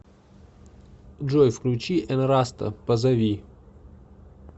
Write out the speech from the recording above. джой включи энраста позови